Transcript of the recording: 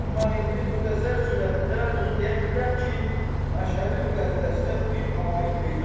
Amma indi müxtəsər surətdə bunu deyə bilirəm ki, Məşhədi-müqəddəsdə bir abid peyda olub.